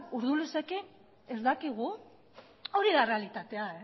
urdulizekin ez dakigu hori da errealitatea